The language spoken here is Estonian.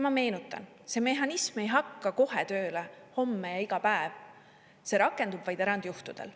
Ma meenutan: mehhanism ei hakka kohe tööle homme ja iga päev, see rakendub vaid erandjuhtudel.